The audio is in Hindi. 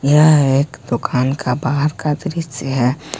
यह एक दुकान का बाहर का दृश्य है।